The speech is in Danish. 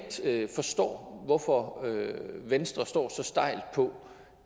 forstår hvorfor venstre står så stejlt på